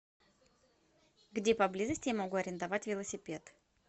где поблизости я могу арендовать велосипед